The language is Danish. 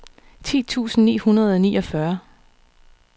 ti tusind ni hundrede og niogfyrre